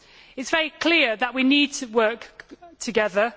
It is very clear that we need to work together.